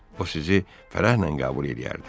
O sizi fərəhlə qəbul eləyərdi.